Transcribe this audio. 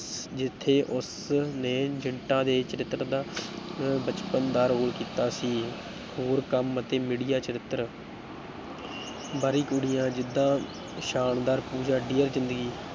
ਜਿੱਥੇ ਉਸਨੇ ਜਿੰਟਾ ਦੇ ਚਰਿੱਤਰ ਦਾ ਅਹ ਬਚਪਨ ਦਾ ਰੋੋਲ ਕੀਤਾ ਸੀ, ਹੋਰ ਕੰਮ ਅਤੇ media ਚਰਿੱਤਰ ਬਾਹਰੀ ਕੁੜੀਆਂ ਜਿੱਦਾਂ ਸ਼ਾਨਦਾਰ, ਪੂਜਾ ਡੀਅਰ ਜ਼ਿੰਦਗੀ